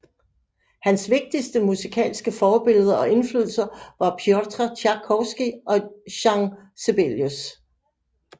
Hans vigtigste musikalske forbilleder og inflydelser var Pjotr Tjajkovskij og Jean Sibelius